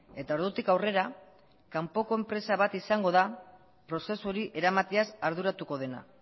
eta ordutik aurrera kanpoko enpresa bat izango da prozesu hori eramateaz arduratuko dena